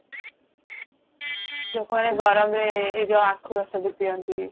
ଲୋକମାନେ ଗରମ ରେ ଏଇ ଜଉ ଆଖୁ ରସ ବି ପିଆନ୍ତି